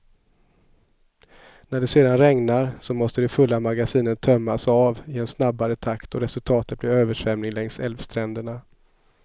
När det sedan regnar, så måste de fulla magasinen tömmas av i en snabbare takt och resultatet blir översvämning längs älvstränderna.